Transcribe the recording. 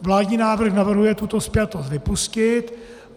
Vládní návrh navrhuje tuto spjatost vypustit.